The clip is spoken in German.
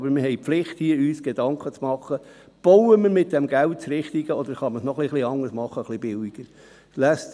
Doch sind wir verpflichtet, uns hier Gedanken zu machen, ob wir mit dem Geld das Richtige bauen oder ob es doch auch etwas billiger geht.